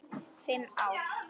Fimm ár?